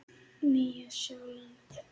Nýja Sjáland